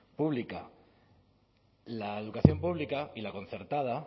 pública la educación pública y la concertada